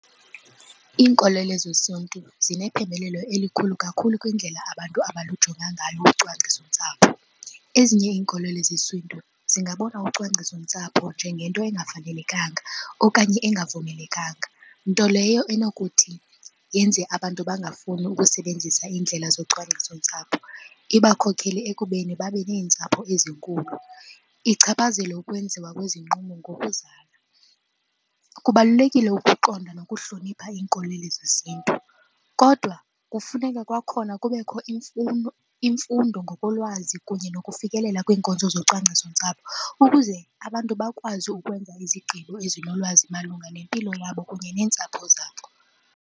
Iinkolelo zesiNtu zinephembelelo elikhulu kakhulu kwindlela abantu abalujonga ngalo ucwangcisontsapho. Ezinye iinkolelo zesiNtu zingabona ucwangcisontsapho njengento engafanelekanga okanye engavumelekanga. Nto leyo enokuthi yenze abantu bangafuni ukusebenzisa iindlela zocwangcisontsapho, ibakhokele ekubeni babe neentsapho ezinkulu, ichaphazele ukwenziwa kwezinqumo ngokuzala. Kubalulekile ukuqonda nokuhlonipha iinkolelo zesiNtu kodwa kufuneka kwakhona kubekho imfundo ngokolwazi kunye nokufikelela kwiinkonzo zocwangcisontsapho ukuze abantu bakwazi ukwenza izigqibo ezinolwazi malunga nempilo yabo kunye neentsapho zabo.